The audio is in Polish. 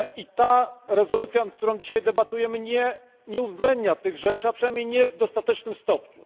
Ta rezolucja, nad którą dzisiaj debatujemy, nie uwzględnia tych rzeczy, a przynajmniej nie w dostatecznym stopniu.